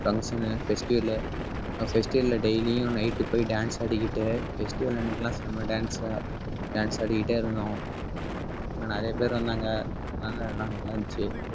function festival அஹ் festival ல daily யும் night போய் dance ஆடிக்கிட்டு festival அன்னைக்கு எல்லாம் நம்ம dance dance ஆடிக்கிட்டே இருந்தோம். இன்னும் நிறைய பேர் வந்தாங்க அதனால எல்லாம் நல்லா இருந்துச்சு